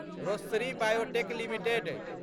Rossari biotech limited